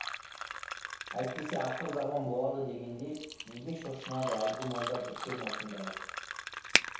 әйтпесе ақыр заман болады дегенде неге шошынады әлгі молда біткен осындағы